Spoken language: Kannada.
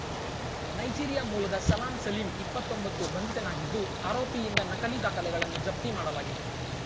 ನೈಜೀರಿಯಾ ಮೂಲದ ಸಲಾಂ ಸಲೀಂ ಇಪ್ಪತ್ತೊಂಬತ್ತು ಬಂಧಿತನಾಗಿದ್ದು ಆರೋಪಿಯಿಂದ ನಕಲಿ ದಾಖಲೆಗಳನ್ನು ಜಪ್ತಿ ಮಾಡಲಾಗಿದೆ